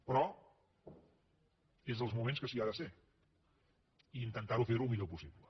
però és dels moments que s’hi ha de ser i intentar fer ho el millor possible